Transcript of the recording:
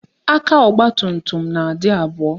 Aka ọgbatumtum na-adị abụọ